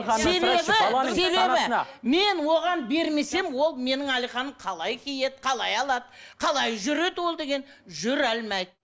мен оған бермесем ол менің қалай киеді қалай алады қалай жүреді ол деген жүре алмайды